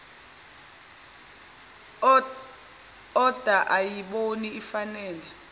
oda ayibona ifanele